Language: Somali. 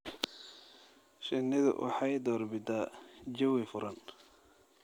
Shinnidu waxay door bidaan jawi furan.